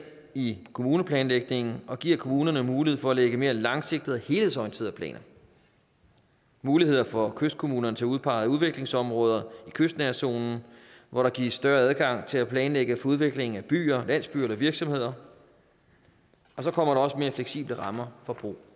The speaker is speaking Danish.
i kommuneplanlægningen og giver kommunerne mulighed for at lægge mere langsigtede og helhedsorienterede planer og muligheder for kystkommunerne til at udpege udviklingsområder i kystnærhedszonen hvor der gives større adgang til at planlægge for udvikling af byer landsbyer eller virksomheder og så kommer der også mere fleksible rammer for brug